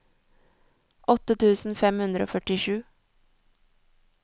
åtte tusen fem hundre og førtisju